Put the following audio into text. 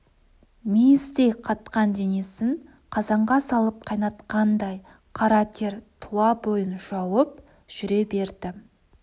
мейіздей қатқан денесін қазанға салып қайнатқандай қара тер тұла бойын жауып жүре берді